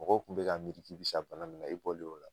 Mɔgɔw kun bi k'a miiri k'e be sa bana min na e bɔlen o la